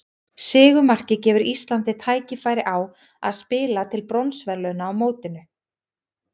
Sigurmarkið gefur Íslandi tækifæri á að spila til bronsverðlauna á mótinu.